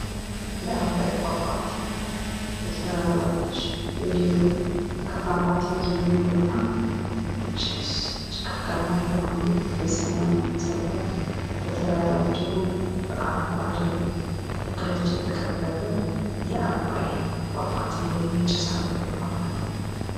የአባይ ፏፏቴ። በተራራዎች እንዲሁም ከፏፏቴው የሚወጣ ጭስ፣ ጭጋጋማ የሆነ የሰማይ ነፀብራቅ፣ በተራራዎች እና በአረንጓዴ ተክሎች የተከበበ የአባይ ፏፏቴ ወይም ጭስ አባይ ፏፏቴ።